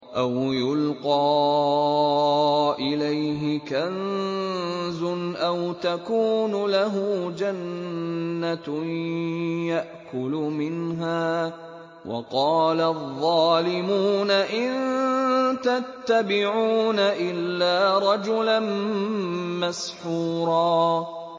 أَوْ يُلْقَىٰ إِلَيْهِ كَنزٌ أَوْ تَكُونُ لَهُ جَنَّةٌ يَأْكُلُ مِنْهَا ۚ وَقَالَ الظَّالِمُونَ إِن تَتَّبِعُونَ إِلَّا رَجُلًا مَّسْحُورًا